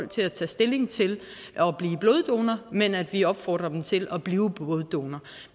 til at tage stilling til at blive bloddonor men at vi opfordrer dem til at blive bloddonor